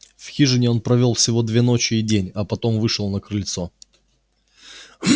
в хижине он провёл всего две ночи и день а потом вышел на крыльцо